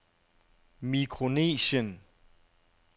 Mikronesien